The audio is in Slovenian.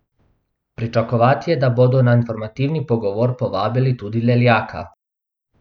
Pričakovati je, da bodo na informativni pogovor povabili tudi Leljaka.